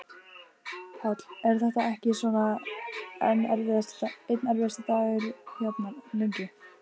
Páll: Er þetta ekki svona einn erfiðasti dagurinn hérna, lengi?